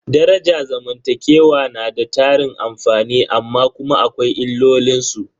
Daraja zamantakewa na da tarin amfani amma kuma akwai illolin su.